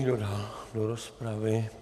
Kdo dál do rozpravy?